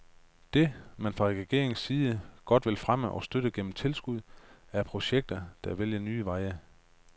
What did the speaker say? Det, man fra regeringens side godt vil fremme og støtte gennem tilskud, er projekter, der vælger nye veje.